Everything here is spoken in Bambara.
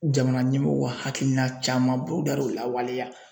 Jamana ɲɛmɔgɔw ka hakilina caman da l'u lawaleya.